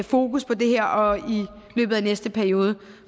fokus på det her og i løbet af næste periode